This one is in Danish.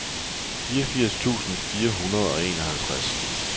fireogfirs tusind fire hundrede og enoghalvtreds